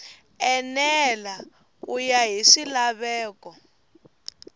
enela ku ya hi swilaveko